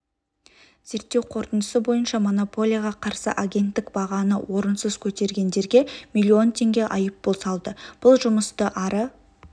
зерттеу қорытындысы бойынша монополияға қарсы агенттік бағаны орынсыз көтергендерге млн теңге айыппұл салды бұл жұмысты ары